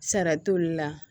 Sara t'olu la